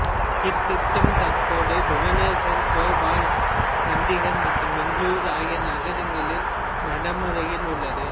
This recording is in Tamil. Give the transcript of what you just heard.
இத்திட்டம் தற்போது புபனேஸ்வர் போபால் சண்டிகர் மற்றும் பெங்களூரு ஆகிய நகரங்களில் நடைமுறையில் உள்ளது